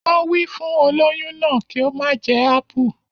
Wọn wí fún olóyún náà kí ó má jẹ ápù